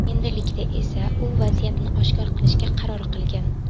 Endilikda esa u vaziyatni oshkor qilishga qaror qilgan.